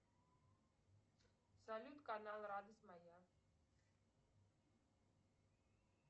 салют канал радость моя